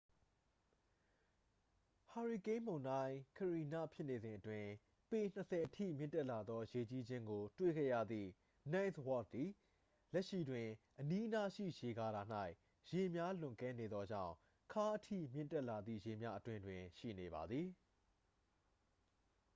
ဟာရီကိန်းမုန်တိုင်း ကရီန ဖြစ်နေစဉ်အတွင်း ပေ ၂၀ အထိမြင့်တက်လာသော ရေကြီးခြင်းကို တွေ့ခဲ့ရသည့် ninth wardသည် လက်ရှိတွင် အနီးအနားရှိ ရေကာတာ၌ ရေများလွန်ကဲနေသောကြောင့် ခါးအထိမြင့်တက်လာသည့် ရေများအတွင်းတွင် ရှိနေပါသည်။